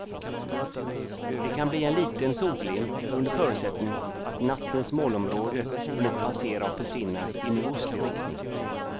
Det kan bli en liten solglimt under förutsättning att nattens molnområde hunnit passera och försvinna i nordostlig riktning.